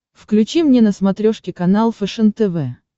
включи мне на смотрешке канал фэшен тв